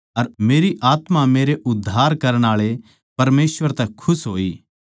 अर मेरी आत्मा मेरै उद्धार करण आळे परमेसवर तै खुश होई